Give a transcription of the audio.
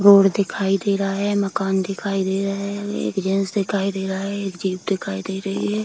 Road दिखाई दे रहा हैमकान दिखाई दे रहे है एक जेंट्स दिखाई दे रहा है एक जिप दिखाई दे रही है।